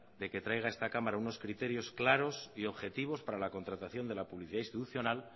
de que traiga a esta cámara unos criterios claros y objetivos para la contratación de la publicidad institucional